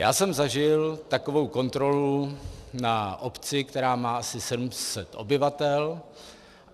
Já jsem zažil takovou kontrolu na obci, která má asi 700 obyvatel.